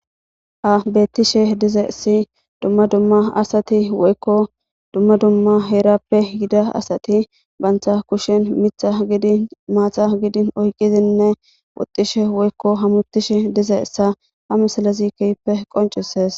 Ha bettishe dizeessi dumma dumma asati woykko dumma dumma heerappe gida asati bantha kushen mitha gidi maatha gidin oyqqizinne woxxishe woykko hamutishe dize essa ha misilezi keyppe qoncusees